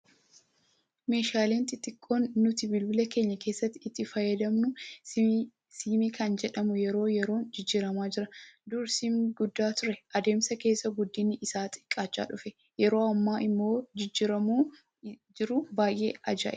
Meeshaaleen xixiqqoon nuti bilbila keenya keessatti itti fayyadamnu siimii kan jedhamu yeroo yeroon jijjiiramaa jira. Dur siimii guddaa ture adeemsa keessa guddinni isaa xiqqaachaa dhufe. Yeroo ammaa immoo jijjiiramni jiru baay'ee ajaa'iba.